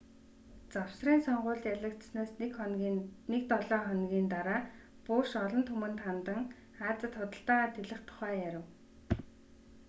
завсрын сонгуульд ялагдсанаас нэг долоо хоногийн дараа буш олон түмэнд хандан азид худалдаагаа тэлэх тухай ярив